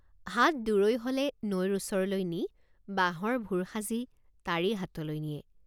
হাট দুৰৈ হলে নৈৰ ওচৰলৈ নি বাঁহৰ ভুৰ সাজি তাৰেই হাটলৈ নিয়ে।